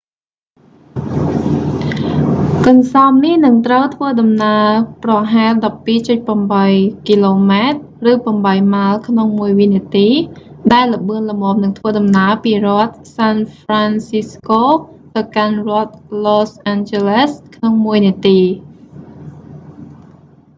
កន្សោមនេះនឹងត្រូវធ្វើដំណើរប្រហែល 12.8 គម ឬ8 ម៉ាយក្នុងមួយវិនាទី ដែលលឿនល្មមនឹងធ្វើដំណើរពីរដ្ឋសាន់ហ្វរាន់ស៊ីស្កូ san francisco ទៅកាន់ រដ្ឋឡូសអាន់ជ័រលេស los angeles ក្នុងមួយនាទី